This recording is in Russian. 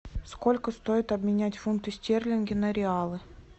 сколько стоит обменять фунты стерлинги на реалы